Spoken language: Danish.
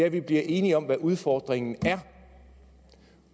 at vi blev enige om hvad udfordringen er